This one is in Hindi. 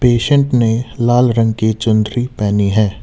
पेशेंट ने लाल रंग की चुंदरी पहनी है।